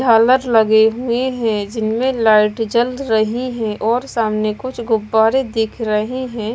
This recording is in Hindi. झालर लगे हुए है जिनमें लाइट जल रही है और सामने कुछ गुब्बारे दिख रहे हैं।